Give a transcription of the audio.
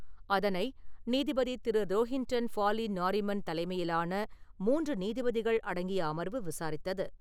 அதனை நீதிபதி திரு. ரோஹின்டன் பாஃலி நாரிமன் தலைமையிலான மூன்று நீதிபதிகள் அடங்கிய அமர்வு விசாரித்தது.